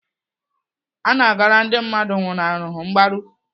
Ana agara ndị mmadụ nwụlaharụ mgbaru.